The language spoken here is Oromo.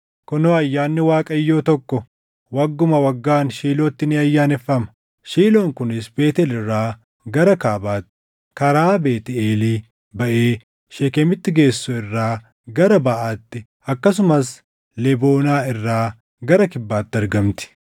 Kunoo ayyaanni Waaqayyoo tokko wagguma waggaan Shiilootti ni ayyaaneffama; Shiiloon kunis Beetʼeel irraa gara kaabaatti, karaa Beetʼeelii baʼee Sheekemitti geessu irraa gara baʼaatti akkasumas Leboonaa irraa gara kibbaatti argamti.”